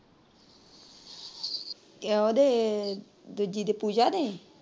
ਉਹਦੇ ਦੂਜੀ ਦੇ ਪੂਜਾ ਦੇ।